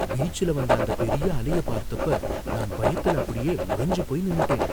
பீச்ல வந்த அந்தப் பெரிய அலைய பார்த்தப்ப நான் பயத்துல அப்படியே உறைஞ்சு போய் நின்னுட்டேன்.